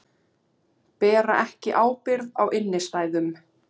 Bera ekki ábyrgð á innstæðum